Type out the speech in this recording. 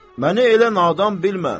Məni elə nadan bilmə.